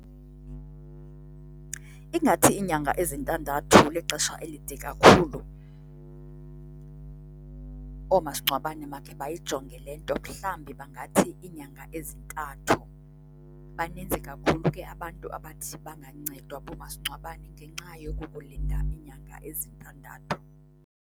Ingathi iinyanga ezintandathu lixesha elide kakhulu. Oomasingcwabane makhe bayayijonge le nto mhlambi bangathi iinyanga ezintathu. Baninzi kakhulu ke abantu abathi bangancedwa boomasingcwabane ngenxa yokukulinda iinyanga ezintandathu.